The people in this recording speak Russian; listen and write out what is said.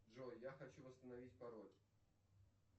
джой я хочу восстановить пароль